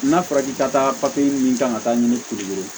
N'a fɔra k'i ka taa papiye min kan ka taa ɲini kuru ye